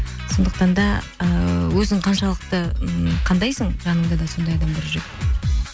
сондықтан да ыыы өзің қаншалықты ммм қандайсың жаныңда да сондай адамдар жүреді